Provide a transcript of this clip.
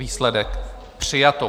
Výsledek - přijato.